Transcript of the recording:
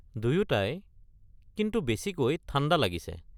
দুয়োটাই, কিন্তু বেছিকৈ ঠাণ্ডা লাগিছে।